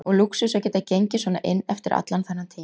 Og lúxus að geta gengið svona inn eftir allan þennan tíma.